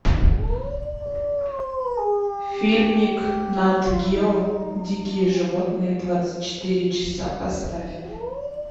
фильмик нат гео дикие животные двадцать четыре часа поставь